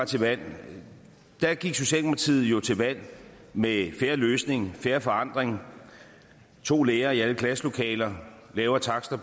til valg valg gik socialdemokratiet jo til valg med en fair løsning og fair forandring to lærere i alle klasselokaler lavere takster